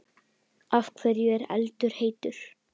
Af hverju er eldur heitur?